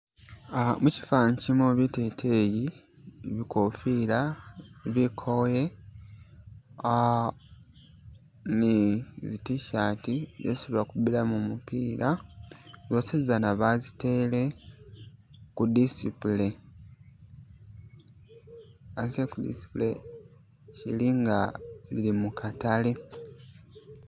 Ah musifaani shilimo biteteyi, bikofiira, bikoyi, ah ni zi t-shirt zesi bakubilamo mupila zosi zana bazitele ku display bazitele ku display zili nga zili mukatale